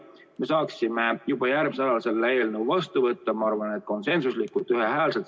Me saaksime juba järgmisel nädalal selle eelnõu saalis vastu võtta, ma arvan, et konsensuslikult.